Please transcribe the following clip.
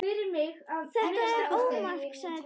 Þetta var ómark, sagði Dísa.